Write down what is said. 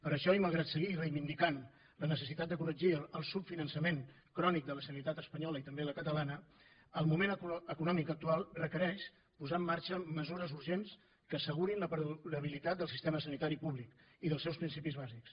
per això i malgrat seguir reivindicant la necessitat de corregir el subfinançament crònic de la sanitat espanyola i també la catalana el moment econòmic actual requereix posar en marxa mesures urgents que assegurin la perdurabilitat del sistema sanitari públic i dels seus principis bàsics